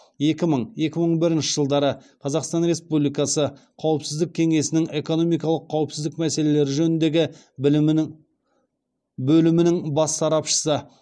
екі мың екі мың бірінші жылдары қазақстан республикасы қауіпсіздік кеңесінің экономикалық қауіпсіздік мәселелері жөніндегі бөлімінің бас сарапшысы